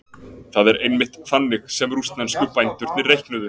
það er einmitt þannig sem rússnesku bændurnir reiknuðu